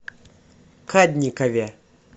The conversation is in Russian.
кадникове